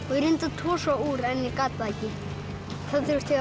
tosa úr en ég gat það ekki þá þurfti ég